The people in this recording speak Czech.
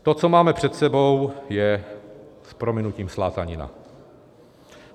To, co máme před sebou, je s prominutím slátanina.